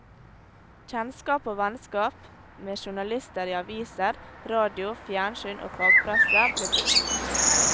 Kjennskap og vennskap med journalister i aviser, radio, fjernsyn og fagpresse ble brukt.